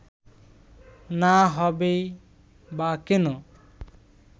না হবেই বা কেন